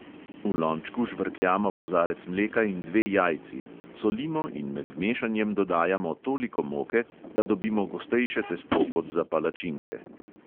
V lončku žvrkljamo kozarec mleka in dve jajci, solimo in med mešanjem dodajamo toliko moke, da dobimo gostejše testo kot za palačinke.